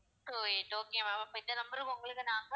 two eight okay ma'am அப்ப இந்த number க்கு உங்களுக்கு நாங்க